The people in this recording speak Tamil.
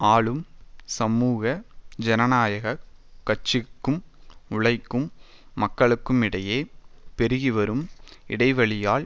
ஆளும் சமூக ஜனநாயக கட்சிக்கும் உழைக்கும் மக்களுக்குமிடையே பெருகிவரும் இடைவெளியால்